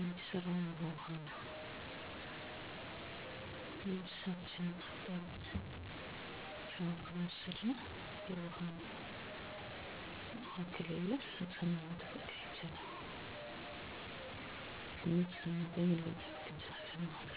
አሁን ላይ በውሃ እጥረት ምክንያት ማህበረሰቡ ችግር ውስጥ ገብቷል ለወራት እና ከዛ በላይ ነው ውሃ የማይመጣው። ያለውሃ ምንም ነገር ማድረግ አይቻልም ንፅህናን ከመጠበቅ ጀምሮ ማለት ነው። ስለዚህ የውሃ ችግሩ በጣም አሳሳቢ ነው። ምንም መፍትሄ እስካሁን አላየሁም አዲስ የሚሰሩ የውሃ ፕሮጀክቶች እራሱ ብዙ አመታትን እየወሰዱ ነው።